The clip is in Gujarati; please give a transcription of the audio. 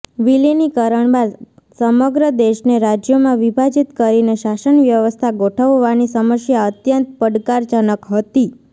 વિલીનીકરણ બાદ સમગ્ર દેશને રાજ્યોમાં વિભાજિત કરીને શાસન વ્યવસ્થા ગોઠવવાની સમસ્યા અત્યંત પડકારજનક હતી